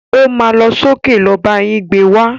O má lọ sókè lọ bá yín gbé wá.